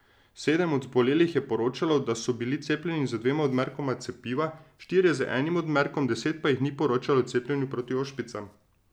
Sedem od zbolelih je poročalo, da so bili cepljeni z dvema odmerkoma cepiva, štirje z enim odmerkom, deset pa jih ni poročalo o cepljenju proti ošpicam.